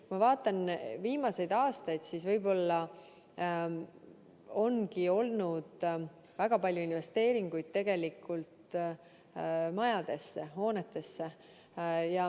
Kui ma vaatan viimaseid aastaid, siis näen, et võib-olla on olnud väga palju investeeringuid majadesse, hoonetesse.